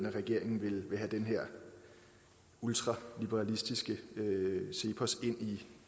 at regeringen ville have den her ultraliberalistiske cepos ind